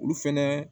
Olu fɛnɛ